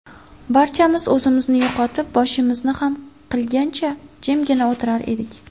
Barchamiz o‘zimizni yo‘qotib, boshimizni xam qilgancha, jimgina o‘tirar edik.